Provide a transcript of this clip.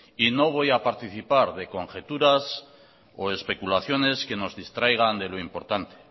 y no voy a participar de conjeturas o especulaciones que nos distraigan de lo importante